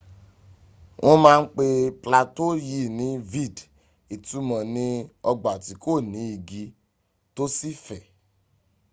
wọ́n ma ń pé plateau yìí ní vidde” ìtumọ̀ ní ọgbà tí kò ní igi tó sì fẹ̀